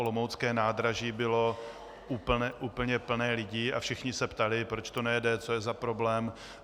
Olomoucké nádraží bylo úplně plné lidí a všichni se ptali, proč to nejede, co je za problém.